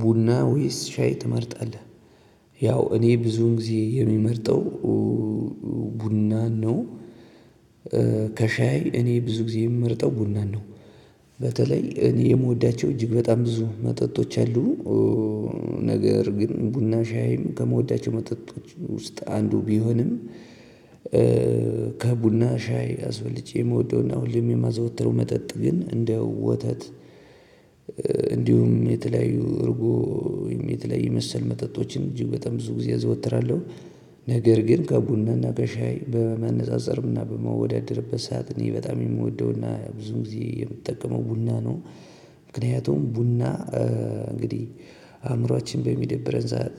ቡና ወይስ ሻይ ትመርጣለህ? ያው እኔ ብዙን ጊዜ የምመርጠው ቡናን ነው። ከሻይ እኔ ብዙ ጊዜ የምመርጠው ቡናን ነው። በተለይ እኔ የምወዳቸው እጅግ በጣም ብዙ መጠጦች አሉ። ነገር ግን ቡና ሻይም ከምወዳቸው መጠጦች ውስጥ አንዱ ቢሆንም። ከቡና ሻይ አስበልጬ የምወደውና ሁሌም የማዘወትረው መጠጥ ግን እንደ ወተት እንዲሁም የተለያዩ እርጎ የተለያዩ መሰል መጠጦችን እጅግ በጣም ብዙ ጊዜ አዘወትራለሁ። ነገር ግን ከቡናና ከሻይ በመነፃፀርምና በመወዳደርበት ሰዓት እኔ በጣም የምወደውና ብዙ ጊዜ የምጠቀመው ቡና ነው። ምክንያቱም ቡና እንግዲህ አእምሮአችን በሚደብረን ሰዓት